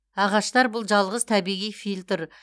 ағаштар бұл жалғыз табиғи фильтр